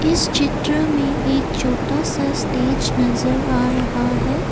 इस चित्र में एक छोटा सा स्टेज नजर आ रहा है।